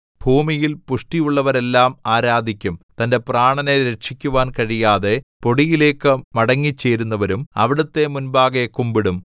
ഭൂമിയിൽ പുഷ്ടിയുള്ളവരെല്ലാം ആരാധിക്കും തന്റെ പ്രാണനെ രക്ഷിക്കുവാൻ കഴിയാതെ പൊടിയിലേക്ക് മടങ്ങിച്ചേരുന്നവരും അവിടുത്തെ മുൻപാകെ കുമ്പിടും